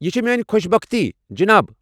یہِ چھِ میٲنۍ خۄش بختی، جناب۔